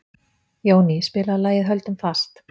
Jóný, spilaðu lagið „Höldum fast“.